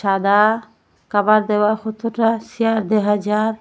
আধা কাভার দেওয়া কতটা চেয়ার দেহা যায়।